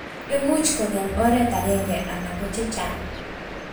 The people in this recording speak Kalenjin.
imuch kongem oret agengei anan ko chechang